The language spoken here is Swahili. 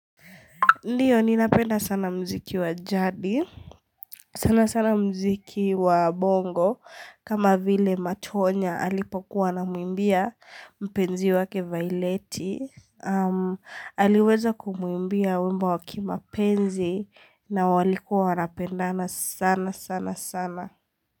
Ndiyo nina penda sana mziki wa jadi, sana sana mziki wa bongo, kama vile matonya alipokua anamwimbia mpenzi wake vaileti, aliweza kumwimbia wimbo wakima penzi na walikua wanapendana sana sana sana.